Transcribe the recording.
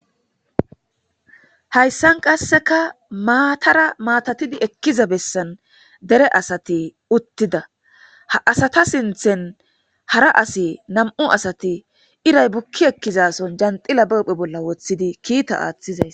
Hayssan qasseka maatara maatatidi ekkiza bessan dere asati uttida ha asata sinthen hara asi nam'u asati iray bukki ekkizason janxila bephe bolla woththidi kiita aaththizays.